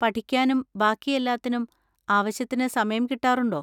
പഠിക്കാനും ബാക്കി എല്ലാത്തിനും ആവശ്യത്തിന് സമയം കിട്ടാറുണ്ടോ?